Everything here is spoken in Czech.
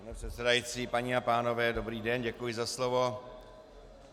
Pane předsedající, paní a pánové dobrý den, děkuji za slovo.